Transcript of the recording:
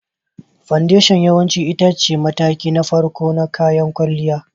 Foundation yawanci ita ce mataki na farko na kayan kwalliya.